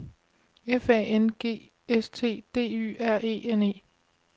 F A N G S T D Y R E N E